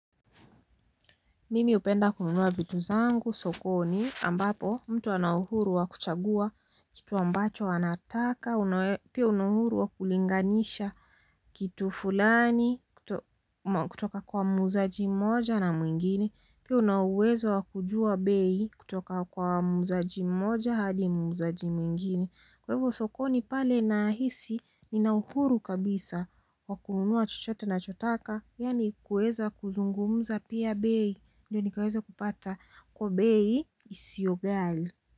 Mimi hupenda kununua vitu zangu sokoni ambapo mtu ana uhuru wa kuchagua kitu ambacho anataka pia una uhuru wa kulinganisha kitu fulani kutoka kwa muuzaji mmoja na mwingine pia una uwezo wa kujua bei kutoka kwa muuzaji mmoja hadi muuzaji mwingine kwa hivo sokoni pale nahisi nina uhuru kabisa wa kununua chuchote nachotaka yaani kuweza kuzungumza pia bei ndiyo nikaweze kupata kwa bei isiyo ghali.